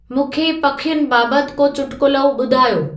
मूंंखे पखियुनि बाबति को चुटकुलो ॿुधायो